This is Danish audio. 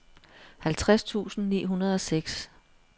halvtreds tusind ni hundrede og seks